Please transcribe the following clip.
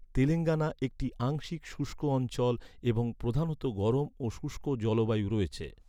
তেলেঙ্গানা একটি আংশিক শুষ্ক অঞ্চল এবং প্রধানত গরম ও শুষ্ক জলবায়ু রয়েছে।